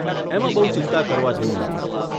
એમાં બહુ ચિંતા કરવા જેવું નથી.